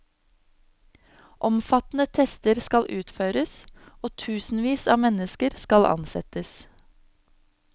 Omfattende tester skal utføres, og tusenvis av mennesker skal ansettes.